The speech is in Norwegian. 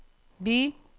by